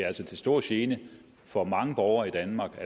altså til stor gene for mange borgere i danmark og